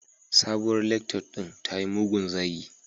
Sabuwar lectut din tayi mugun zagi